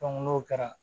n'o kɛra